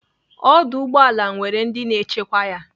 Ọdụ ụgbọala nwere ndị na-echekwa ya.